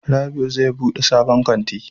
Rabiu zai bude sabon kanti